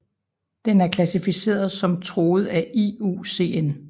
Den er klassificeret som truet af IUCN